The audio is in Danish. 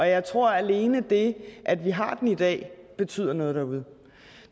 jeg tror at alene det at vi har den i dag betyder noget derude